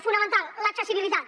fonamental l’accessibilitat